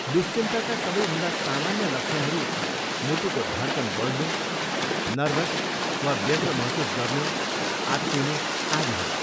दुश्चिन्ताका सबैभन्दा सामान्य लक्षणहरू मुटुको धड्कन बढ्नु, नर्भस वा व्यग्र महसुस गर्नु, आत्तिनु आदि हुन्।